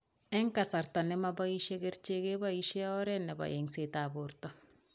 Eng' kasarta nemabois kerichek keboishe oret nebo eng'setab borto